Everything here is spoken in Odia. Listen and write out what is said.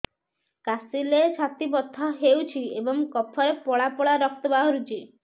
କାଶିଲେ ଛାତି ବଥା ହେଉଛି ଏବଂ କଫରେ ପଳା ପଳା ରକ୍ତ ବାହାରୁଚି